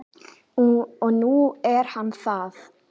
Og nú er hann það.